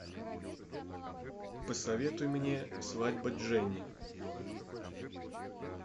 посоветуй мне свадьба дженни